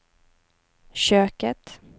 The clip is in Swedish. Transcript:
köket